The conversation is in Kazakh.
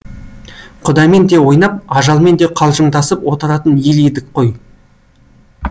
құдаймен де ойнап ажалмен де қалжыңдасып отыратын ел едік қой